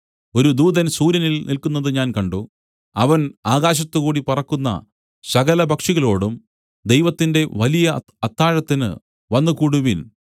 ഒരു ദൂതൻ സൂര്യനിൽ നില്ക്കുന്നതു ഞാൻ കണ്ട് അവൻ ആകാശത്തുകൂടി പറക്കുന്ന സകല പക്ഷികളോടും ദൈവത്തിന്റെ വലിയ അത്താഴത്തിന് വന്നുകൂടുവിൻ